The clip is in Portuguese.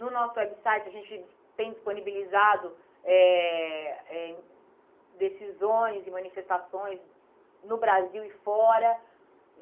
No nosso website, a gente tem disponibilizado eh eh decisões e manifestações no Brasil e fora.